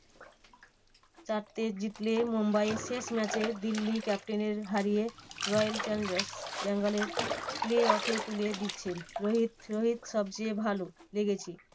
তাতে জিতলে মুম্বাই শেষ match এ দিল্লি ক্যাপিটাল কে হারিয়ে royal challengers Bangalore play off এ তুলে দিচ্ছেন রোহিত রোহিত সবচেয়ে ভালো লেগেছে